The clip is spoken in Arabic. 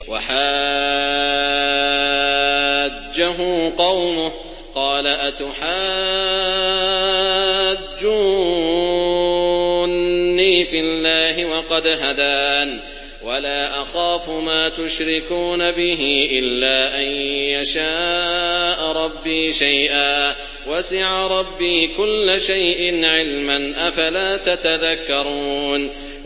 وَحَاجَّهُ قَوْمُهُ ۚ قَالَ أَتُحَاجُّونِّي فِي اللَّهِ وَقَدْ هَدَانِ ۚ وَلَا أَخَافُ مَا تُشْرِكُونَ بِهِ إِلَّا أَن يَشَاءَ رَبِّي شَيْئًا ۗ وَسِعَ رَبِّي كُلَّ شَيْءٍ عِلْمًا ۗ أَفَلَا تَتَذَكَّرُونَ